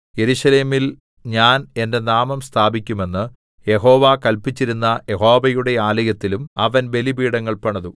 യെരൂശലേമിൽ ഞാൻ എന്റെ നാമം സ്ഥാപിക്കുമെന്ന് യഹോവ കല്പിച്ചിരുന്ന യഹോവയുടെ ആലയത്തിലും അവൻ ബലിപീഠങ്ങൾ പണിതു